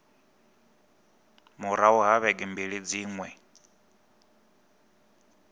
murahu ha vhege mbili dziṅwe